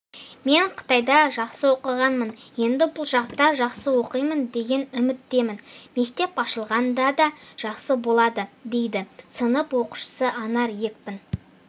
мен қытайда жақсы оқығанмын енді бұл жақта жақсы оқимын деген үміттемін мектеп ашылғанда да жақсы болды дейді сынып оқушысы анар екпін